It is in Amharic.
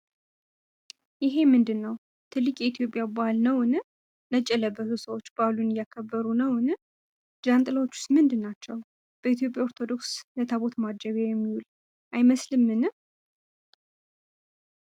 ይሄ ምንድነው? ትልቅ የኢትዮጵያ በዓል አይመስልምን? ነጭ የለበሱት ሰዎች በዓሉን እያከበሩ ነውን? ጃንጥላዎቹስ ምንድናቸው? በኢትዮጵያ ኦርቶዶክስ ቤተክርስቲያን የታቦት ማጀቢያ የሚዉል አይመስልምን?